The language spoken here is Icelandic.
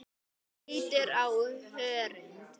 Hvítur á hörund.